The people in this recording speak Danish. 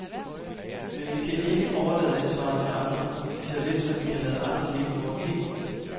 Men vi kan ikke overlade ansvaret til andre, lige så lidt som vi kan lade andre leve vort liv.